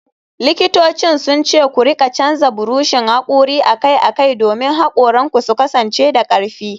Likitocin sun ce ku rika canza buroshin hakori akai-akai domin hakoranku su kasance da karfi.